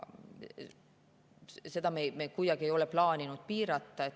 Seda me ei ole plaaninud kuidagi piirata.